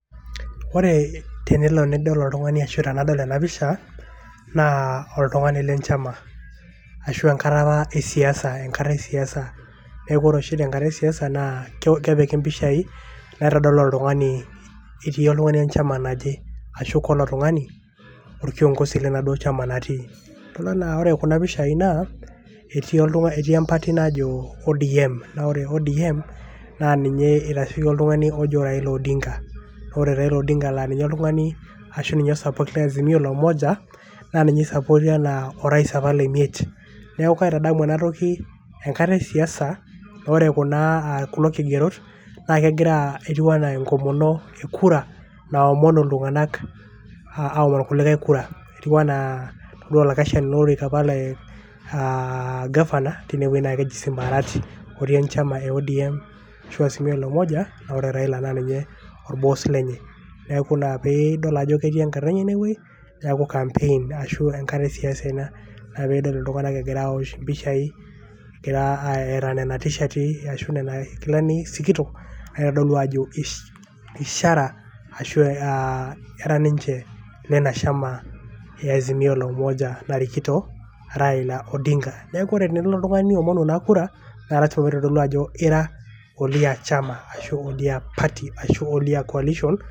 Ore tenilo nidol oltungani ashu tenelo nadol ena pisha naa oltungani le nchama ashu enkata apa esiasa enkata esiasa. neku ore oshi tenkata esiasa naa kepiki impishai naitodolu oltungani itii oltungani enchama naje. ashu kalo tungani orkiongosi lenaduoo chama natii .kelo naa ore kuna pishai naa etii oltungani etii empati najo ODM. naa ore ODM naa ninye eitasheiki oltungani ojo Raila Odinga